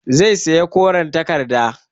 Zai saya koren takarda